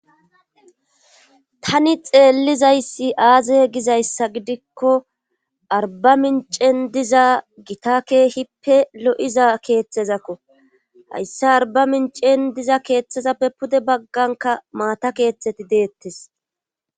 Tani xeellizayssi aaze gizayssa gidikko arba mincen diza gita kehippe lo'iza keeththezakko hayssi arba mincen diza keeththezappe pude bagganka maata keeththeti deettes